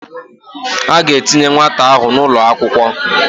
A ga-etinye nwata ahụ n'ụlọakwụkwọ